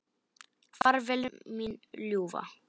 Far vel mín ljúfa.